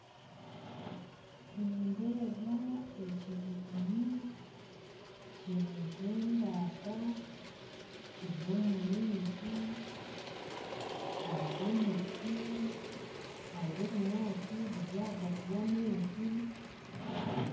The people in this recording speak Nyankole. Nindeeba ekinyonyi kiri nkembata kiri omumaizi hariho emiti hariho ebinyasi biri ahagati yamaizi